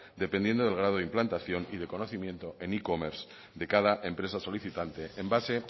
dependiendo del grado de implantación y de conocimiento e commerce de cada empresa solicitante en base